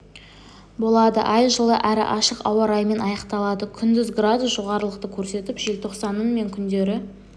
болады ай жылы әрі ашық ауа райымен аяқталады күндіз градус жоғарылықты көрсетіп желтоқсанның мен күндері